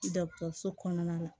Dɔgɔtɔrɔso kɔnɔna la